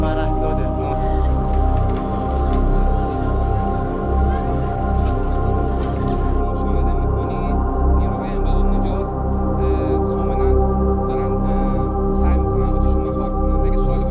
Fərəhzadəni müşahidə edirsiniz, xilasetmə qüvvələri atəşi nəzarət altına almağa çalışırlar.